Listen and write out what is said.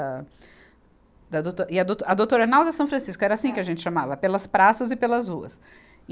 A, da douto e a douto, a Doutor Arnaldo e a São Francisco era assim que a gente chamava, pelas praças e pelas ruas. e